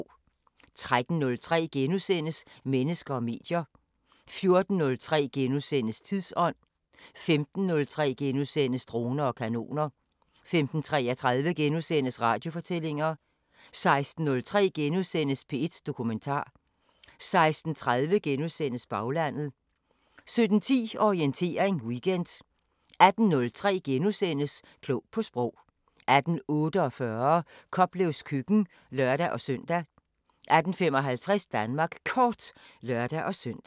13:03: Mennesker og medier * 14:03: Tidsånd * 15:03: Droner og kanoner * 15:33: Radiofortællinger * 16:03: P1 Dokumentar * 16:30: Baglandet * 17:10: Orientering Weekend 18:03: Klog på Sprog * 18:48: Koplevs køkken (lør-søn) 18:55: Danmark Kort (lør-søn)